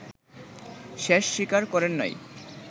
শেষ স্বীকার করেন নাই